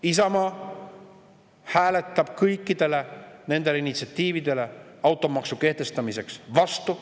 Isamaa hääletab kõikide nende automaksu kehtestamise initsiatiivide vastu.